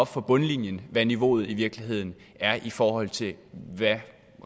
fra bundlinjen hvad niveauet i virkeligheden er i forhold til hvad